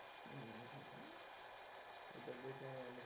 এটা দেখে আমি অনেক।